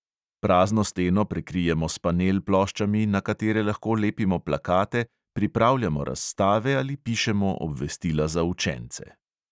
Prazno steno prekrijemo s panel ploščami, na katere lahko lepimo plakate, pripravljamo razstave ali pišemo obvestila za učence.